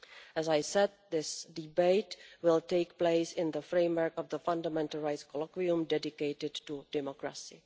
As I said, this debate will take place in the framework of the Fundamental Rights Colloquium dedicated to democracy.